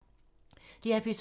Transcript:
DR P2